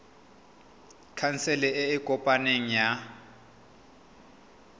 khansele e e kopaneng ya